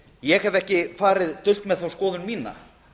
ég hef ekki farið dult með þá skoðun mína